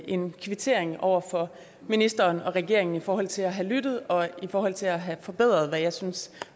en kvittering over for ministeren og regeringen i forhold til at have lyttet og i forhold til at have forbedret hvad jeg synes